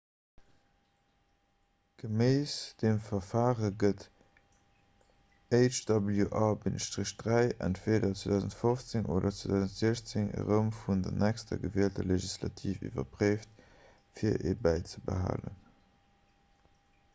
geméiss dem verfare gëtt hjr-3 entweeder 2015 oder 2016 erëm vun der nächster gewielter legislativ iwwerpréift fir e bäizebehalen